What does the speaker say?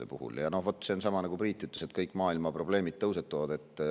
Vaat selle on sama nagu sellel, mida Priit ütles, et kõik maailma probleemid tõusetuvad.